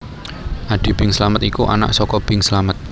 Adi Bing Slamet iku anak saka Bing Slamet